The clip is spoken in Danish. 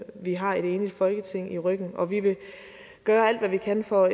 vi har et enigt folketing i ryggen og vi vil gøre alt hvad vi kan for